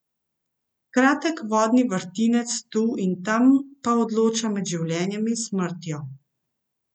Kratek vodni vrtinec tu in tam pa odloča med življenjem in smrtjo.